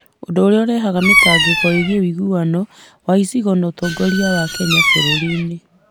ũndũ ũrĩa ũrehaga mĩtangĩko ĩgiĩ ũiguano wa icigo na ũtongoria wa Kenya bũrũriinĩ.